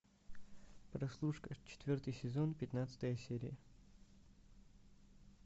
прослушка четвертый сезон пятнадцатая серия